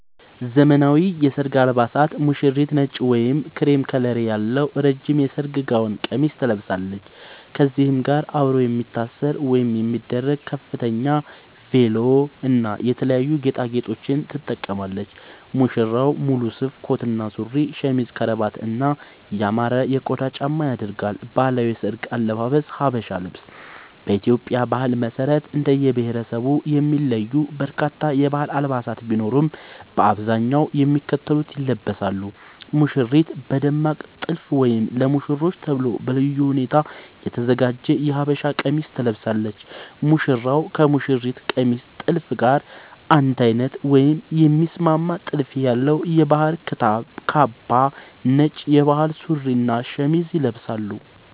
ዘመናዊ የሰርግ አልባሳት ሙሽሪት: ነጭ ወይም ክሬም ከለር ያለው ረጅም የሰርግ ጋውን (ቀሚስ) ትለብሳለች። ከዚህም ጋር አብሮ የሚታሰር ወይም የሚደረግ የከተፍ (ቬሎ) እና የተለያዩ ጌጣጌጦችን ትጠቀማለች። ሙሽራው: ሙሉ ሱፍ (ኮት እና ሱሪ)፣ ሸሚዝ፣ ከረባት እና ያማረ የቆዳ ጫማ ያደርጋል። ባህላዊ የሰርግ አልባሳት (ሀበሻ ልብስ) በኢትዮጵያ ባህል መሰረት እንደየብሄረሰቡ የሚለዩ በርካታ የባህል አልባሳት ቢኖሩም፣ በአብዛኛው የሚከተሉት ይለበሳሉ - ሙሽሪት: በደማቅ ጥልፍ ወይም ለሙሽሮች ተብሎ በልዩ ሁኔታ የተዘጋጀ የሀበሻ ቀሚስ ትለብሳለች። ሙሽራው: ከሙሽሪት ቀሚስ ጥልፍ ጋር አንድ አይነት ወይም የሚስማማ ጥልፍ ያለው የባህል ክታብ (ካባ)፣ ነጭ የባህል ሱሪ እና ሸሚዝ ይለብሳል።